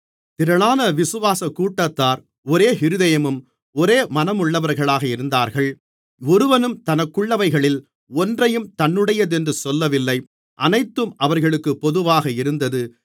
திரளான விசுவாசக் கூட்டத்தார் ஒரே இருதயமும் ஒரே மனமுள்ளவர்களாக இருந்தார்கள் ஒருவனும் தனக்குள்ளவைகளில் ஒன்றையும் தன்னுடையதென்று சொல்லவில்லை அனைத்தும் அவர்களுக்குப் பொதுவாக இருந்தது